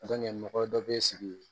mɔgɔ dɔ bɛ sigi